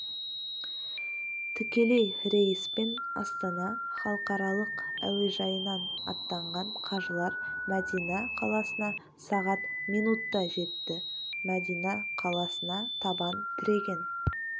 тікелей рейспен астана халықаралық әуежайынан аттанған қажылар мәдина қаласына сағат минутта жетті мәдина қаласына табан тіреген